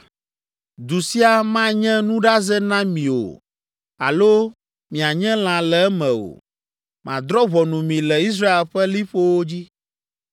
Du sia manye nuɖaze na mi o alo mianye lã le eme o. Madrɔ̃ ʋɔnu mi le Israel ƒe liƒowo dzi,